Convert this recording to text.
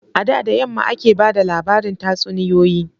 A da da yamma ake ba da labarin tatsuniyoyi.